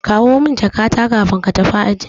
Kawo min jakata kafin ko tafi aji.